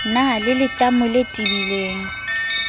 na le letamo le tebileng